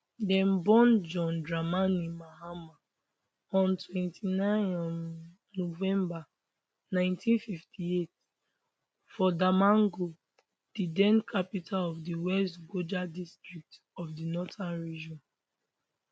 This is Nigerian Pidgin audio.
dem born john dramani mahama on 29 um november 1958 for damongo di den capital of di west gonja um district of di northern region